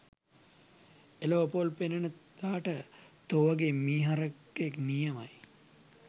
එලොව පොල් පෙනෙන දාට තෝ වගේ මී හරකෙක් නියමයි